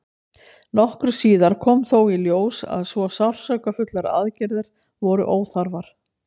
nokkru síðar kom þó í ljós að svo sársaukafullar aðgerðir voru óþarfar